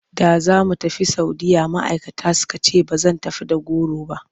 Da za mu tafi Saudiyya ma'aikata suka ce ba zan tafi da goro ba.